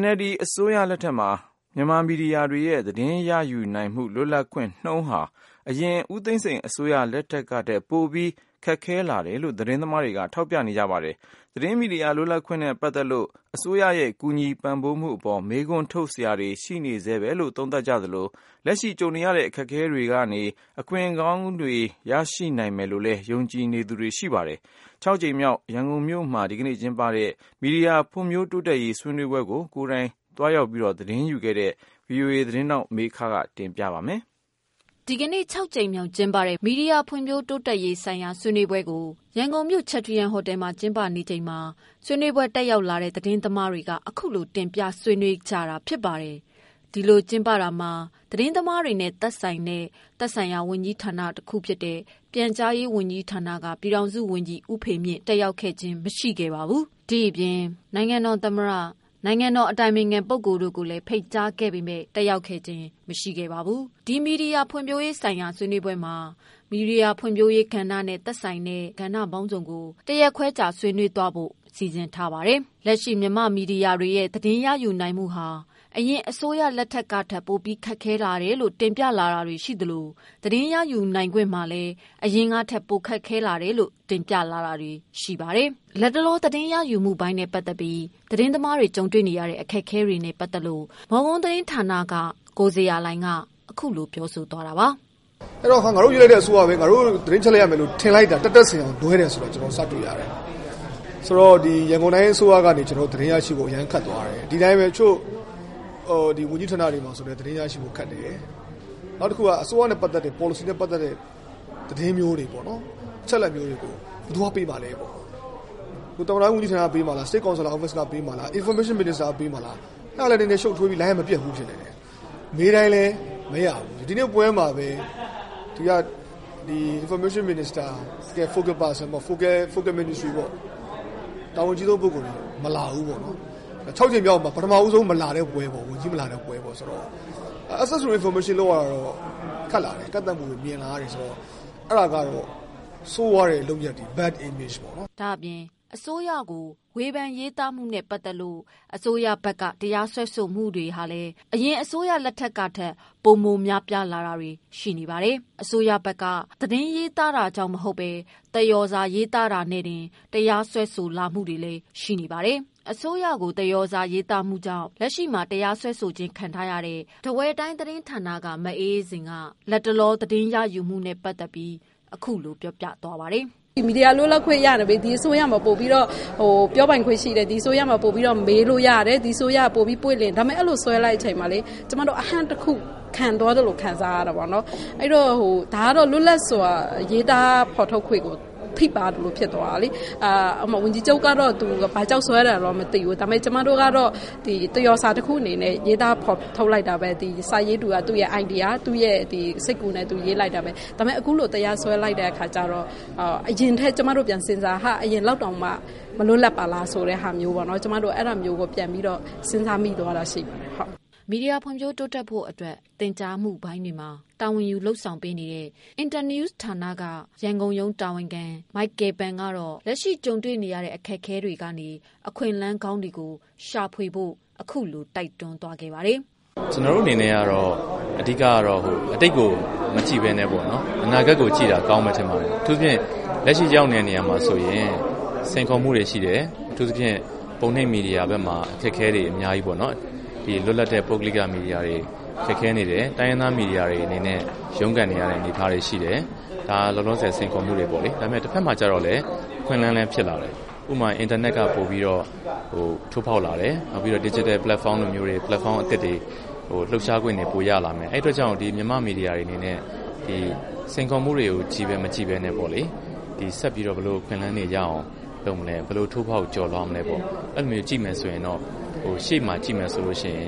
NLD အစိုးရလက်ထက်မှာ မြန်မာမီဒီယာတွေရဲ့ သတင်းရယူနိုင်မှု လွတ်လပ်ခွင့်နှုန်းဟာ အရင်ဦးသိန်းစိန် အစိုးရလက်ထက်ကထက်ပိုပြီးခက်ခဲမှုတွေရှိလာ တယ်လို့ သတင်းသမားတွေက ထောက်ပြလာတာတွေရှိပါတယ်။ သတင်းမီဒီယာ လွတ်လပ်ခွင့်နဲ့ပတ်သတ်လို့ လက်ရှိအစိုးရရဲ့ ကူညီပံ့ပိုးမှုအပေါ် မေးခွန်း ထုတ်စရာတွေရှိနေဆဲလို့ သုံးသပ်တာတွေလည်းရှိနေသလို လက်ရှိကြုံနေရတဲ့ အခက်အခဲတွေကနေ အခွင့်အလမ်းကောင်းတွေရရှိနိုင်မယ်လို့ ယုံကြည်နေ သူတွေလည်းရှိပါတယ်။ ဒီကနေ့ ၆ကြိမ်မြောက်ကျင်းပတဲ့ မီဒီယာဖွံ့ဖြိုးတိုးတက်ရေး ဆွေးနွေးပွဲမှာ ကိုယ်တိုင်သတင်းသွားယူခဲ့တဲ့ မေခက တင်ပြထားပါတယ်။ ဒီကနေ့ ၆ကြိမ်မြောက်ကျင်းပတဲ့ မီဒီယာဖွံ့ဖြိုးတိုးတက်ဖွံ့ဖြိုးရေးဆိုင်ရာ ဆွေးနွေးပွဲ ကိုရန်ကုန်မြို့ချက်ထရီယမ်ဟိုတယ်မှာ ကျင်းပခဲ့တာမှာ ဆွေးနွေးပွဲ တက်ရောက် လာတဲ့ သတင်းသမားတွေက အခုလိုတင်ပြခဲ့တာဖြစ်ပါတယ်။ ဒီလိုကျင်းပတာ မှာ သက်ဆိုင်ရာ ဝန်ကြီးဌာနပိုင်းက တာဝန်ရှိသူ ပြည်ထောင် စုဝန်ကြီး ဦးဖေမြင့် တက်ရောက်ခဲ့ခြင်း မရှိပါဘူး။ ဆွေးနွေးပွဲကို နိုင်ငံတော်သမ္မတနဲ့ နိုင်ငံတော်အတိုင်ပင်ခံပုဂ္ဂိုလ်တို့ကို တက်ရောက်ဖို့ဖိတ်တာမှာလဲ တက် ရောက်နိုင်ခဲ့ခြင်းမရှိပါဘူး။ ဒီဆွေးနွေးပွဲမှာ မီဒီယာဖွံ့ဖြိုးရေးဆိုင်ရာကဏ္ဍပေါင်းစုံကို ၁ ရက်ခွဲကြာကျင်းပသွားမှာဖြစ်ပါတယ်။ လက်ရှိ မြန်မာမီဒီယာတွေရဲ့ သတင်းရယူနိုင်မှု ဟာ အရင်အစိုးရလက်ထက်ကထက် ပိုမိုခက်ခဲလာတယ်လို့ တင်ပြလာတာတွေရှိသလို သတင်းရယူနိုင်ခွင့်မှာ လည်း အရင်ကထက် ပိုခက်ခဲလာတာတွေရှိတယ်လို့ တင်ပြလာတာတွေရှိပါ တယ်။ မော်ကွန်း သတင်းဌာနက ကိုဇေယျာလှိုင်က လက်ရှိသတင်းရယူမှုပိုင်းနဲ့ ပတ်သတ်လို့ သတင်းသမားတွေ ကြုံတွေ့နေရတဲ့အခက်အခဲနဲ့ပတ်သက်လို့ အခုလိုပြောပြတာပါ။ " အဲ့တော့ ငါတို့ရွေးချယ်လိုက်တဲ့အစိုးရ ငါတို့ သတင်းအချက်အလက်ရမယ်လို့ ထင်လိုက်တာ တက်တက်စင်အောင် လွဲတယ်ဆိုတာ ကျနော်တို့ စတွေ့ရတယ်။ ဆိုတော့ ရန်ကုန်တိုင်းအစိုးရကနေ သတင်းရရှိဖို့ အရမ်းခက်သွားတယ်။ ဒီအတိုင်းပဲ တချို့ ဝန်ကြီးဌာနတွေမှာလည်းပဲ သတင်းရရှိဖို့ ခက်တယ်။ နောက်တခုက အစိုးရနဲ့ပတ်သက်တဲ့ ပေါ်လစီနဲ့ပတ်သက်တဲ့ သတင်းမျိုးတွေ အချက်အလက်မျိုးတွေကို ဘယ်သူက ပေးမှာလဲပေါ့ သမ္မတရုံးကပေးမှာလား နိုင်ငံတော်အတိုင်ပင်ခံရုံးက ပေးမှာလား ပြန်ကြားရေးက ပေးမှာလား အဲ့တာလည်း ရှုပ်ထွေးပြီးလိုင်းကမပြတ်ဘူးဖြစ်နေတယ်။ မေးတိုင်းလည်း မရဘူး။ ဒီနေ့ပွဲမှာလည်း ပြန်ကြားရေးဝန်ကြီးဌာနဘက်က တာဝန်ရှိပုဂ္ဂိုလ်တွေ မလာဘူးပေါ့။ ခြောက်ကြိမ်မြောက်မှာ ပထမဆုံး ဝန်ကြီး မလာတဲ့ပွဲပေါ့။ သတင်းရယူမှုတွေက ခက်လာတယ် ကန့်သတ်မှုတွေ များလာတယ်။ အဲ့တာကတော့ ဆိုးရွားတဲ့လုပ်ရပ်တွေပေါ့။ " လတ်တလောမှာ အစိုးရကို ဝေဖန်ရေးသားခဲ့မှုနဲ့ပတ်သတ်လို့ အစိုးရဘက်က တရားစွဲဆိုမှုတွေကလည်း အရင်အစိုးရလက်ထက်ကထက် ပိုမိုများလာတာ တွေလည်း ရှိနေပါတယ်။ လက်ရှိ အစိုးရဘက်က သတင်းရေးသားလို့မဟုတ်ဘဲ သရော်စာရေး သားမှုကြောင့်နဲ့တင် အစိုးရဘက်ရဲ့ တရားစွဲဆိုခြင်းခံထားရတာ တွေလည်းရှိပါတယ်။ အစိုးရရဲ့တရားစွဲဆို ခံထားရတဲ့ ထားဝယ်တိုင်းမ် သတင်းဌာန မအေးအေးဇင်ကတော့ လတ်တလော သတင်းရယူခွင့်နဲ့ပတ်သတ်လို့- " မီဒီယာလွတ်လပ်ခွင့်နဲ့ပတ်သက်ပြီး ဒီအစိုးရမှာ ပြောပိုင်ခွင့်ရှိတယ် ဒီအစိုးရမှာ ပိုပြီးတော့ မေးလို့ရတယ် ဒီအစိုးရက ပိုပြီး ပွင့်လင်းမယ်လို့ အဲ့လိုအချိန်မှာ ကျမတို့ အဟန့်တခု ခံသွားသလို ခံစားရတာပေါ့။ ဒါကတော့ လွတ်လပ်စွာ ဖော်ထုတ်ရေးသားခွင့်ကို ထိပါးသလိုဖြစ်သွားတာပေါ့။ ဝန်ကြီးချုပ်ကတော့ ဘာကြောင့်စွဲတယ်မသိဘူး ဒါပေမဲ့ ကျမတို့ကတော့ သရော်စာတခုအနေနဲ့ ရေးသားဖော်ထုတ်လိုက်တာပဲ။ စာရေးသူက သူ့ရဲ့အိုင်ဒီယာ သူ့ရဲ့စိတ်ကူးနဲ့ရေးလိုက်တာပဲ ဒါပေမဲ့ အခုလို တရားစွဲလိုက်တဲ့ အခါကျတော့ အရင်နဲ့ပြန်စဉ်းစားတော့ ဟာ အရင်လောက်တောင်မှ မလွတ်လပ်ပါလား ဆိုတဲ့ဟာမျိုးပေါ့ ကျမတို့ အဲ့တာမျိုးကို ပြန်ပြီးတော့ စဉ်းစားမိသွားတာရှိပါတယ်။" မီဒီယာ ဖွံ့ဖြိုးတိုးတက်ရေးအတွက် သင်ကြားရေးပိုင်းမှာ တာဝန်ယူထားတဲ့ အင်တာနယူး ဌာနရဲ့ ရန်ကုန်ရုံး တာဝန်ခံ မိုက်ကယ်ပန်ကတော့ လက်ရှိကြုံနေရတဲ့ အခက်အခဲတွေ ကနေ အခွင့်အလမ်းကောင်းတွေ ရရှိနိုင်အောင် လုပ်ဆောင်ဖို့ ခုလိုတိုက်တွန်းခဲ့ပါတယ်။ " ကျနော်တို့အနေနဲ့ကတော့ အဓိကကတော့ အတိတ်ကို မကြည့်ပဲနဲ့ အနာဂတ်ကို ကြည့်တာ ကောင်းမယ်ထင်ပါတယ်။ အထူးသဖြင့် အခုလက်ရှိရောက်နေတဲ့နေရာမှာဆိုရင် စိန်ခေါ်မှုတွေရှိတယ် အထူးသဖြင့် ပုံနှိပ်မီဒီယာတွေဘက်မှာ အခက်အခဲတွေ အများကြီးပေါ့နော် လွတ်လပ်တဲ့ ပုဂ္ဂိုလိက မီဒီယာတွေမှာ ခက်ခဲနေတယ် တိုင်းရင်းသား မီဒီယာတွေ အနေနဲ့ ရုန်းကန်နေရတဲ့အနေအထားတွေ ရှိတယ်။ ဒါက လောလောဆယ် စိန်ခေါ်မှုပေါ့နော်။ တဖက်မှာကျတော့လည်း အခွင့်အလမ်းလည်းဖြစ်လာတယ်။ အင်တာနက် ထိုးဖောက်လာတယ် ဒီဂျစ်တယ်ပလက်ဖောင်းအသစ်တွေ လှုပ်ရှားခွင့် ပိုရလာတယ်။ အဲ့တာကြောင့် မြန်မာ့မီဒီယာတွေရဲ့စိန်ခေါ်မှုတွေ ချည်းပဲ မကြည့်ပဲနဲ့ပေါ့လေ ဆက်ပြီးတော့ ဘယ်လိုအခွင့်အလမ်းတွေရအောင် ဘယ်လိုလုပ်မလဲ ဘယ်လိုထိုးဖောက်ကျော်လွှားမလဲပေါ့ အဲ့လိုမျိုး ကြည့်မယ်ဆိုရင်တော့ ရှေ့မှာကြည့်မယ်ဆိုရင်